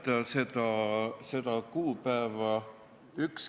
Ma ei mäleta seda kuupäeva.